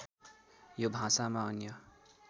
यो भाषामा अन्य